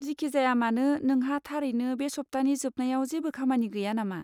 जिखिजायामानो, नोंहा थारैनो बे सप्तानि जोबनायाव जेबो खामानि गैया नामा?